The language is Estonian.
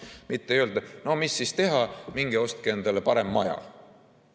Mitte ei öelda, et no mis siis teha, minge ostke endale parem maja.